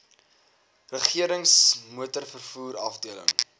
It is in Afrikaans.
regerings motorvervoer afdeling